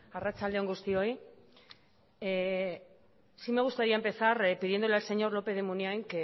arratsalde on guztioi sí me gustaría empezar pidiéndole al señor lópez de munain